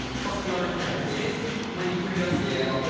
Faktları təhrif edir, manipulyasiya yola atır.